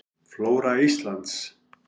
Flóra Íslands.